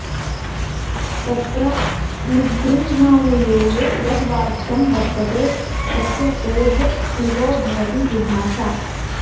तत्र निगृह्यानुयोगे यद् वाक्यं वर्तते तस्य टेः प्लुतो भवति विभाषा